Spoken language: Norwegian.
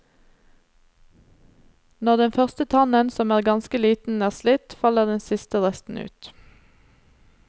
Når den første tannen, som er ganske liten, er slitt faller den siste resten ut.